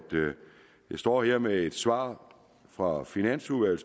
jeg står her med et svar fra finansudvalget